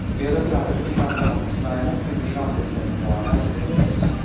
Ved å forandre de gamle handelsveiene, kunne de gamle sentraene svekkes.